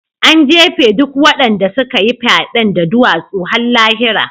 An jefe duk waɗanda suka yi fyaɗen da duwatsu har lahira.